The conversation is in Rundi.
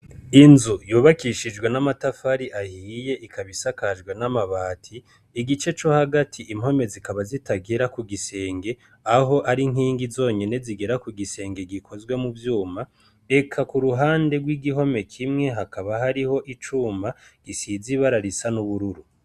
Inzu yubakishijwe n' amatafari ahiye ikaba isakajwe n' amabati igice co hagati impome zikaba zitagera kugisenge aho ari inkingi zonyene zigera kugisenge gikozwe muvyuma eka kuruhande gw' igihome kimwe hakaba hariho icuma gisize ibara risa n' ubururu.